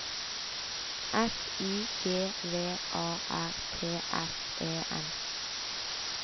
S I G V A R T S E N